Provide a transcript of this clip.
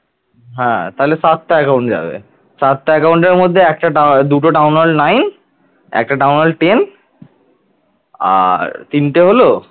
আর তিনটে হল